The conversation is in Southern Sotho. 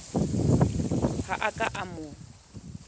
ha a ka a mo